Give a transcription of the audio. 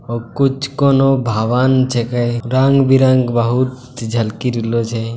और कुछ कोनो भवन छीके रंग बिरंग बहुत झलकी रहलो छै।